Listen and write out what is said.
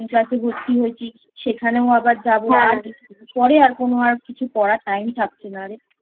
Class এ ভর্তি হয়েছি সেখানেও আবার যাবো আর পরে এখন আর কিছু পড়ার Time ই থাকছে না রেI